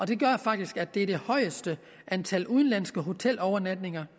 det gør faktisk at det er det højeste antal udenlandske hotelovernatninger